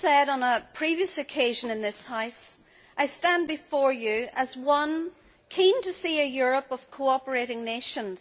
As I have said on a previous occasion in this House, I stand before you as one keen to see a Europe of cooperating nations.